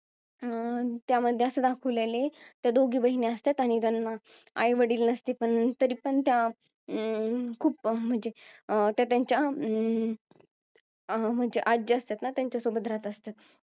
अं त्यामध्ये असं दाखवलेला आहे त्या दोघी बहिणी असतात आणि त्यांना आई वडील नसती तरी पण त्या अं खूप म्हणजे अं त्या त्यांच्या अं म्हणजे आजी असतात त्याच्यासोबत राहत असत्यात